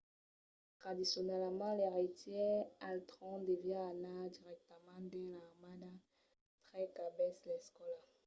tradicionalament l’eiretièr al tròn deviá anar dirèctament dins l‘armada tre qu’acabèsse l’escòla